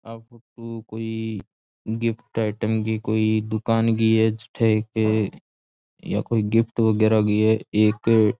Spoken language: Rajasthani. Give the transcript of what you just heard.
आ फोटू कोई गिफ्ट आईटम गी कोई दुकान गी है जठै एक या कोई गिफ्ट वगैरा भी है एक।